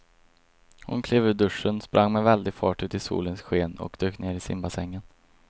Hon klev ur duschen, sprang med väldig fart ut i solens sken och dök ner i simbassängen.